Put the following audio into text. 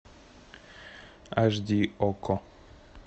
аш ди окко